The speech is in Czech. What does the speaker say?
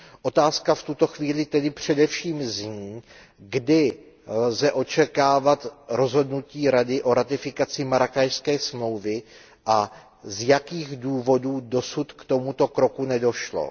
Otázka v tuto chvíli tedy především zní, kdy lze očekávat rozhodnutí Rady o ratifikaci Marrákešské smlouvy a z jakých důvodů dosud k tomuto kroku nedošlo.